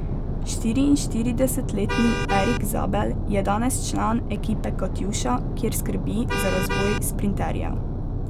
Štiriinštiridesetletni Erik Zabel je danes član ekipe Katjuša, kjer skrbi za razvoj sprinterjev.